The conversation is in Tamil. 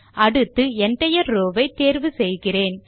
அடுத்து என்டயர் Row ஐ தேர்வு செய்கிறேன்